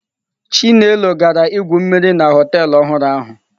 Chinelo gara igwu mmiri na họtelụ ọhụrụ ahụ.